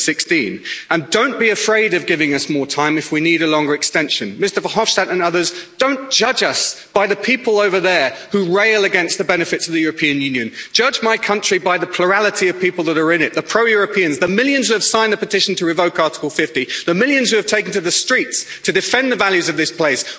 2016. And don't be afraid of giving us more time if we need a longer extension, Mr Verhofstadt and others, don't judge us by the people over there who rail against the benefits of the European Union. Judge my country by the plurality of people who are in it the pro Europeans, the millions who have signed the petition to revoke Article 50, the millions who have taken to the streets to defend the values of this place.